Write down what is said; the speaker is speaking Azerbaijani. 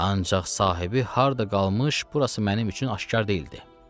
Ancaq sahibi harda qalmış, burası mənim üçün aşkar deyildi.